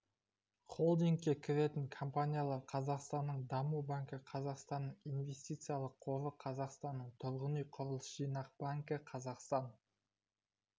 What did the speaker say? холдингке кіретін компаниялар қазақстанның даму банкі қазақстанның инвестициялық қоры қазақстанның тұрғын үй құрылыс жинақ банкі қазақстан